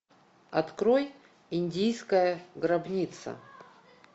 открой индийская гробница